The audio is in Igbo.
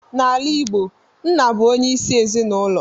N'ala Igbo, nna bụ onye isi ezinulo.